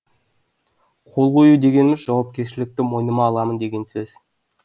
қол қою дегеніміз жауапкершілікті мойныма аламын деген сөз